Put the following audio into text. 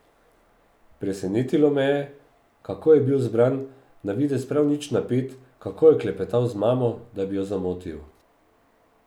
Presenetilo me je, kako je bil zbran, na videz prav nič napet, kako je klepetal z mamo, da bi jo zamotil.